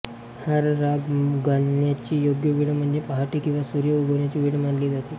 हा राग गाण्याची योग्य वेळ म्हणजे पहाटे किंवा सूर्य उगवण्याची वेळ मानली जाते